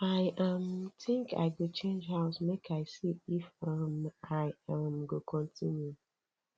i um think i go change house make i see if um i um go continue